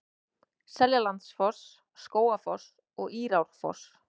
Seljalandsfoss, Skógafoss og Írárfoss.